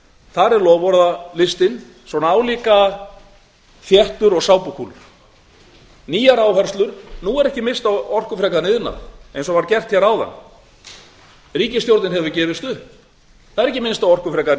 þar er loforðalistinn álíka þéttur og sápukúlur nýjar áherslur nú er ekki minnst á orkufrekan iðnað eins og var gert áðan ríkisstjórnin hefur gefist upp það er ekki minnst á orkufrekan